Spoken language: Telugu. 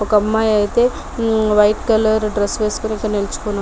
ఒక అమ్మాయి అయితే హ్మ్ వైట్ కలర్ డ్రస్ వేసుకుని ఇక్కడ నించుని --